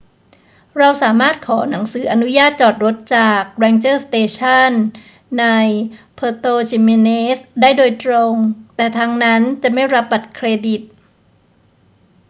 เราสามารถขอหนังสืออนุญาตจอดรถจาก ranger station ใน puerto jiménez ได้โดยตรง แต่ทางนั้นจะไม่รับบัตรเครดิต